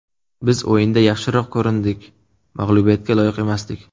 Biz o‘yinda yaxshiroq ko‘rindik, mag‘lubiyatga loyiq emasdik.